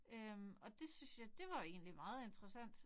Øh og det synes jeg det var jo egentlig meget interessant